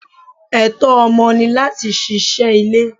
Ẹtọ ọmọ ni láti ṣíṣe ilé.